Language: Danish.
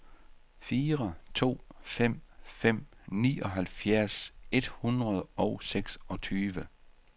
fire to fem fem nioghalvfjerds et hundrede og seksogtyve